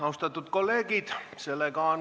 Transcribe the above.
Austatud kolleegid!